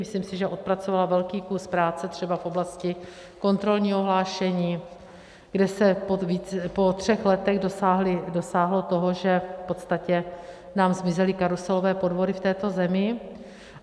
Myslím si, že odpracovala velký kus práce třeba v oblasti kontrolního hlášení, kde se po třech letech dosáhlo toho, že v podstatě nám zmizely karuselové podvody v této zemi.